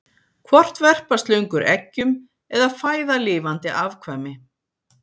Hvort verpa slöngur eggjum eða fæða lifandi afkvæmi?